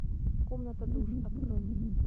комната душ открой